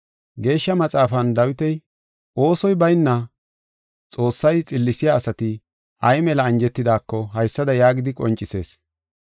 Geeshsha Maxaafan Dawiti, oosoy bayna Xoossay xillisiya asati ay mela anjetidako haysada yaagidi qoncisees: